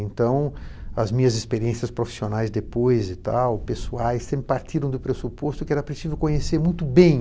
Então, as minhas experiências profissionais depois e tal, pessoais, sempre partiram do pressuposto que era preciso conhecer muito bem